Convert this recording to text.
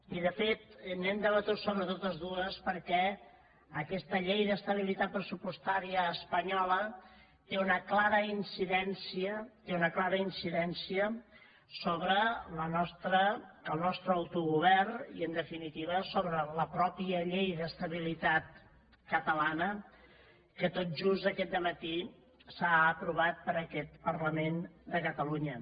i de fet hem debatut sobre totes dues perquè aquesta llei d’estabilitat pressupostària espanyola té una clara incidència té una clara incidència sobre el nostre autogovern i en definitiva sobre la mateixa llei d’estabilitat catalana que tot just aquest dematí s’ha aprovat per aquest parlament de catalunya